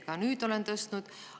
Ka nüüd olen seda tõstatanud.